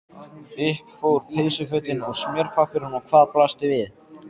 Upp fóru peysufötin og smjörpappírinn og hvað blasti við?